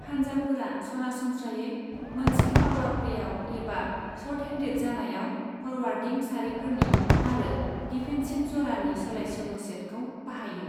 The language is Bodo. हानजाफोरा सरासनस्रायै मोनसे पावार प्लेयाव एबा शर्टहेन्डेड जानायाव फरवारवर्डिं सारिफोरनि आरो डिफेन्सिफ जरानि सोलायसोल' सेटखौ बाहायो।